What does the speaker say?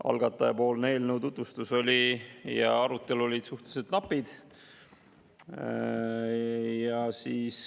Algatajapoolne eelnõu tutvustus ja arutelu olid suhteliselt napid.